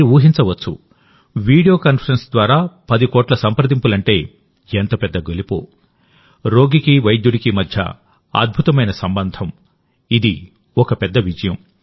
మీరు ఊహించవచ్చు video conference ద్వారా 10 కోట్ల సంప్రదింపులంటే ఎంత పెద్ద గెలుపో రోగికి వైద్యుడికి మధ్య అద్భుతమైన సంబంధం ఇది ఒక పెద్ద విజయం